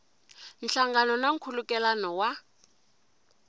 nhlangano na nkhulukelano wa